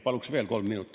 Paluks veel kolm minutit.